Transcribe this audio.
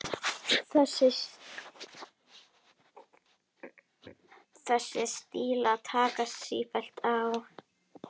Þessir stílar takast sífellt á.